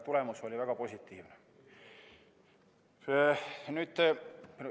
Tulemus oli väga positiivne.